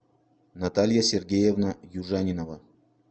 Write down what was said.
наталья сергеевна южанинова